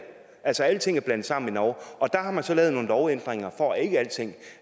altså alting er blandet sammen i norge og der har man så lavet nogle lovændringer for at ikke alting